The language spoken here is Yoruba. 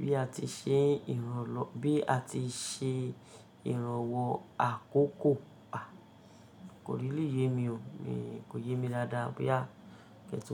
bí a ti ṣe n ìrànlọ́, bí a ti ṣe ìrànwọ́ àkókò? À, kò really yé mi o, mi Kò yé mi dáadáa boya ke tun.